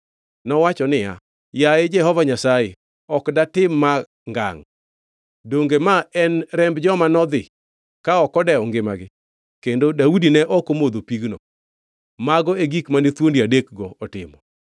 Nowacho niya, “Yaye Jehova Nyasaye, ok datim ma ngangʼ! Donge ma en remb joma nodhi ka ok odewo ngimagi?” Kendo Daudi ne ok omodho pigno. Mago e gik mane thuondi adekgo otimo.